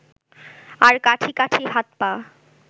আর কাঠি কাঠি হাত-পা